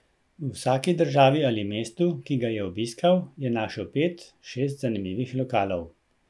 V vsaki državi ali mestu, ki ga je obiskal, je našel pet, šest zanimivih lokalov.